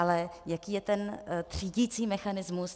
Ale jaký je ten třídicí mechanismus?